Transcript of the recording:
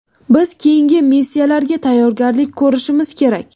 Biz keyingi missiyalarga tayyorgarlik ko‘rishimiz kerak.